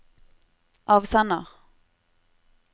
avsender